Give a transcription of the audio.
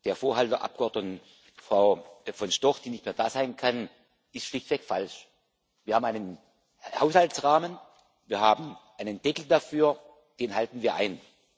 Der Vorhalt der Abgeordneten Frau von Storch, die nicht mehr da sein kann, ist schlichtweg falsch. Wir haben einen Haushaltsrahmen, wir haben einen Deckel dafür, den halten wir ein.